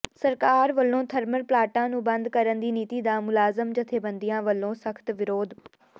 ਸਰਕਾਰ ਵਲੋਂ ਥਰਮਲ ਪਲਾਂਟਾਂ ਨੂੰ ਬੰਦ ਕਰਨ ਦੀ ਨੀਤੀ ਦਾ ਮੁਲਾਜ਼ਮ ਜਥੇਬੰਦੀਆਂ ਵਲੋਂ ਸਖ਼ਤ ਵਿਰੋਧ